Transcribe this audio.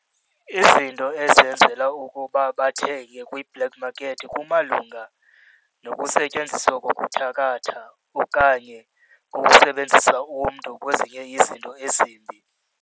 Izinto ezenzela ukuba bathenge kwi-black market kumalunga nokusetyenziswa kokuthakatha okanye ukusebenzisa umntu kwezinye izinto ezimbi.